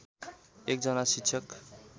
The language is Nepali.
एक जना शिक्षक